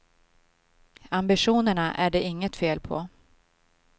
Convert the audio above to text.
Ambitionerna är det inget fel på.